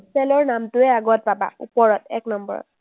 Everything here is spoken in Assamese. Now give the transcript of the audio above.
ৰ নামটোৱেই আগত পাবা, ওপৰত এক নম্বৰত।